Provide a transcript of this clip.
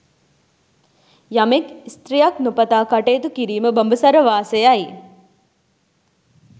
යමෙක් ස්ත්‍රියක් නොපතා කටයුතු කිරීම බඹසර වාසයයි.